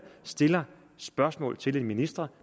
stiller spørgsmål til en minister